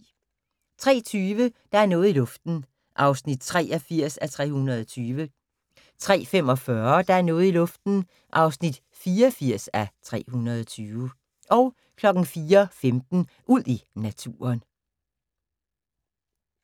03:20: Der er noget i luften (83:320) 03:45: Der er noget i luften (84:320) 04:15: Ud i naturen